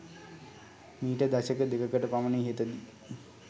මීට දශක දෙකකට පමණ ඉහතදී